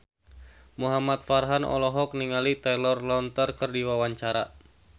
Muhamad Farhan olohok ningali Taylor Lautner keur diwawancara